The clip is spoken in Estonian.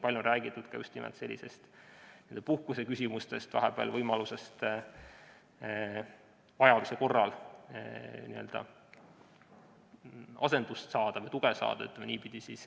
Palju on räägitud ka puhkuse küsimustest ja võimalusest vajaduse korral vahepeal asendust või tuge saada.